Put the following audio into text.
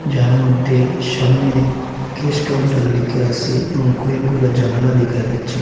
যার মধ্যে সামনে কেস কাউন্টার লেখা আসে এবং কয়েকগুলা জানালা দেখা যাচ্ছে।